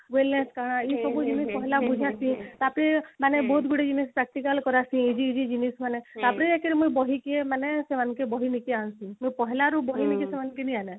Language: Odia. କଣ ଏଇ ସବୁ ଜିନିଷ କହିଲା ବୁଝିଲା କି ତାପରେ ମାନେ ବହୁତ ଗୁଡା ଜିନିଷ practical କରା ହୁଏ easy easy ଜିନିଷ ମାନେ ତାପରେ actually ମାନେ ବହି କି ଏମାନେ ସେମାନେ କେ ବହି ଲେଖି ଆଣନ୍ତି ତ ପହଳାରୁ ବହି ଲେଖେ ସେମାନେ କେନ୍ତି ଆଣବେ